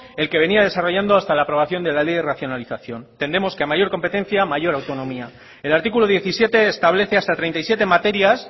el que venía desarrollando hasta la aprobación de la ley de racionalización tendemos que a mayor competencia mayor autonomía el artículo diecisiete establece hasta treinta y siete materias